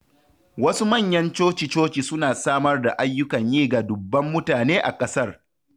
Wasu manyan coci-coci suna samar da ayyukan yi ga dubban mutane a kasar.